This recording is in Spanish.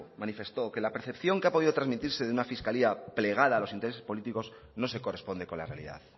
manifestó que la percepción que ha podido trasmitirse de una fiscalía plegada a los intereses políticos no se corresponde con la realidad